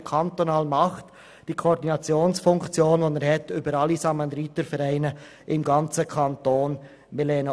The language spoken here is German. Dieser nimmt eine Koordinationsfunktion für alle Samaritervereine im ganzen Kanton wahr.